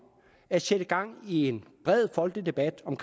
at sætte gang i en bred folkelig debat om